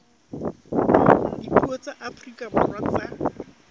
dipuo tsa afrika borwa tsa